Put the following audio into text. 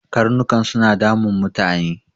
Karnukan suna damun mutane.